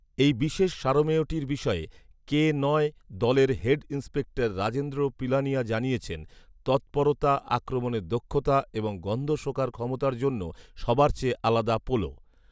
এই বিশেষ সারমেয়টির বিষয়ে কে নয় দলের হেড ইন্সপেক্টর রাজেন্দ্র পিলানিয়া জানিয়েছেন, ‘তৎপরতা, আক্রমণের দক্ষতা এবং গন্ধ শোঁকার ক্ষমতার জন্য সবার চেয়ে আলাদা পোলো'